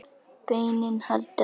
Beinin halda illa.